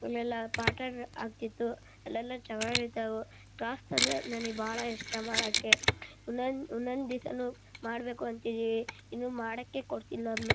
ಅಲ್ಲೆಲ್ಲ ಪಾಠ ಆಗತಿತ್ತು ಅಲ್ಲೆಲ್ಲ ಚೆನಾಗ್ ಇರ್ತವು ಕ್ರಾಫ್ಟ್ ಅಂದ್ರೆ ನನಗೆ ಬಹಳ ಇಷ್ಟ ಮಡಕೆ ಒಂದೊಂದ್ ದಿವ್ಸನು ಮಾಡಬೇಕು ಅಂತಿದೀವಿ ಇನ್ನಮಾಡಾಕೆ ಕೊಡ್ತಿಲ-